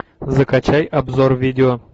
закачай обзор видео